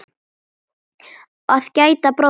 Að gæta bróður síns